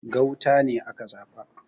Gauta ne aka zaba